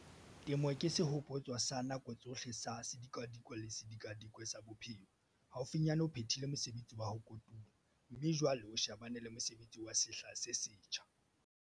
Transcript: Temo ke sehopotso sa nako tsohle sa sedikadikwe le sedikadikwe sa bophelo haufinyane o phethile mosebetsi wa ho kotula, mme jwale o shebane le mosebetsi wa sehla se setjha.